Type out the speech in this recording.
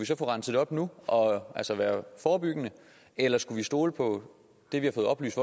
så få renset op nu og altså være forebyggende eller skulle vi stole på det vi har fået oplyst